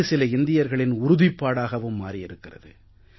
இது சில இந்தியர்களின் உறுதிப்பாடாகவும் மாறி இருக்கிறது